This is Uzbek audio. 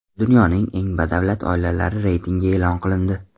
Dunyoning eng badavlat oilalari reytingi e’lon qilindi.